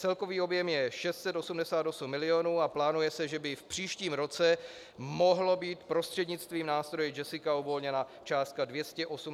Celkový objem je 688 milionů a plánuje se, že by v příštím roce mohlo být prostřednictvím nástroje JESSICA uvolněna částka 288 milionů korun.